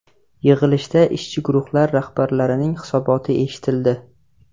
Yig‘ilishda ishchi guruhlar rahbarlarining hisoboti eshitildi.